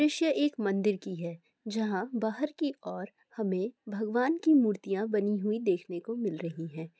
ष्य एक मंदिर की है जहाँ बाहर की और हमे भगवन की मूर्तियां बानी हुई देखने को मिल रही है|